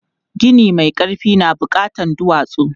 Gini mai ƙarfi na buƙatan duwatsu.